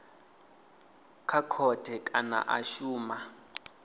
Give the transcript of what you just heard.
kha khothe kana a shuma